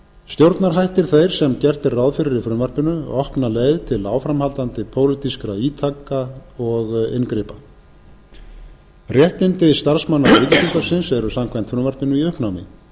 stjórnarhættir þeir sem gert er ráð fyrir í frumvarpinu opna leið til áframhaldandi pólitískra ítaka og inngripa réttindi starfsmanna ríkisútvarpsins eru samkvæmt frumvarpinu í uppnámi